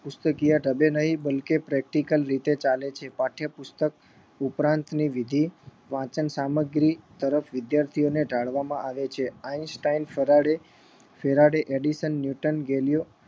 પુસ્તકિયા ઢબે નહી બલકી practical રીતે ચાલે છે પાઠ્યપુસ્તક ઉપરાંત ની વિધિ વાંચન સામગ્રી તરફ વિદ્યાર્થીઓ ને ઢાળવામાં આવે છે Einstein Faraday Faraday Faraday edition Newton Galileo